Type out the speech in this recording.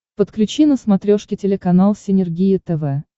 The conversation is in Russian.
подключи на смотрешке телеканал синергия тв